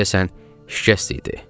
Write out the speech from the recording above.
Deyəsən, şikəst idi.